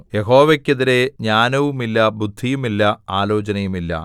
യഹോവയ്ക്കെതിരെ ജ്ഞാനവുമില്ല ബുദ്ധിയുമില്ല ആലോചനയുമില്ല